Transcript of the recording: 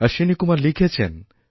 অশ্বিনী কুমার লিখেছেন